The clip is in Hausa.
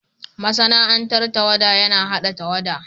Masana'antar tawada yana hada tawada.